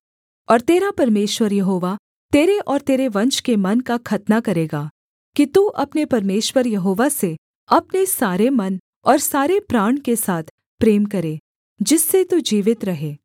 और तेरा परमेश्वर यहोवा तेरे और तेरे वंश के मन का खतना करेगा कि तू अपने परमेश्वर यहोवा से अपने सारे मन और सारे प्राण के साथ प्रेम करे जिससे तू जीवित रहे